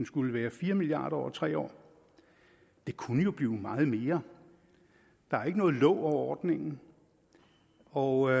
skulle være fire milliard kroner over tre år det kunne jo blive meget mere der er ikke noget låg over ordningen og